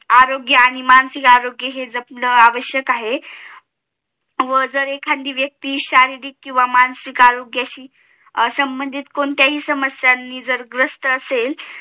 आरोग्य आणि मानसिक आरोग्य हे जपन आवश्यक आहे व जर एखादी व्यक्ती शारीरिक किंवा मानसिक आरोग्याशी संबधीत कोणत्याही समस्यांनी जर ग्रस्त असेल